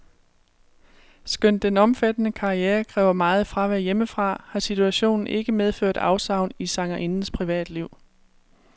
Skønt den omfattende karriere kræver meget fravær hjemmefra, har situationen ikke medført afsavn i sangerindens privatliv.